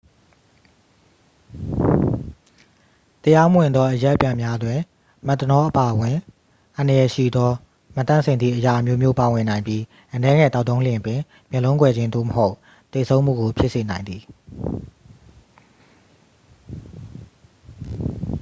တရားမဝင်သောအရက်ပြန်များတွင် မက်သနောလ်အပါအဝင် အန္တရာယ်ရှိသော မသန့်စင်သည့်အရာအမျိုးမျိုး ပါဝင်နိုင်ပြီး အနည်းငယ်သောက်သုံးလျှင်ပင် မျက်လုံးကွယ်ခြင်း သို့မဟုတ် သေဆုံးမှုကို ဖြစ်စေနိုင်သည်